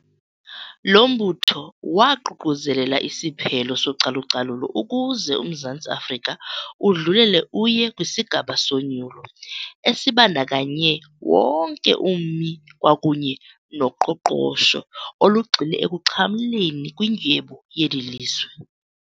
Lo mbutho waququzelela isiphelo socalucalulo ukuze uMzantsi Afrika udlulele uye kwisigaba sonyulo esibandakanye wonke ummi kwakunye noqoqosho olugxile ekuxhamleni kwindyebo yeli lizwe.